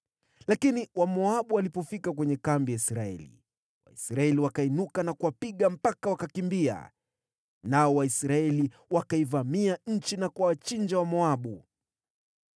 Lakini Wamoabu walipofika kwenye kambi ya Israeli, Waisraeli wakainuka na kuwapiga mpaka wakakimbia. Nao Waisraeli wakaivamia nchi na kuwachinja Wamoabu.